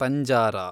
ಪಂಜಾರಾ